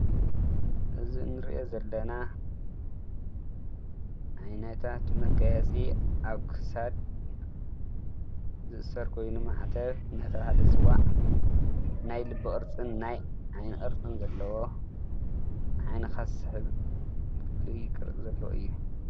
እዚ እንረኦ ዘለና ዓይነታት መጋየፂ ኣብ ክሳድ ዝእሰር ኮይኑ ማዕተብ እንዳተባሃለ ዝፅዋዕ ናይ ልቢ ቅርፂን ናይ ዓይኒ ቅርፅን ዘለዎ ንዓይንካ ዝስሕብ ፍሉይ ዘለዎ ቅርፂ እዩ።